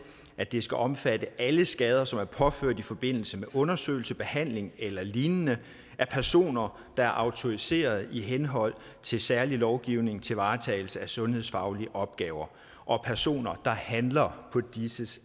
at det skal omfatte alle skader som er påført i forbindelse med undersøgelse behandling eller lignende af personer der er autoriserede i henhold til særlig lovgivning til varetagelse af sundhedsfaglige opgaver og af personer der handler på disses